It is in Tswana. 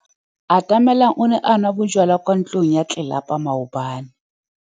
Atamelang o ne a nwa bojwala kwa ntlong ya tlelapa maobane.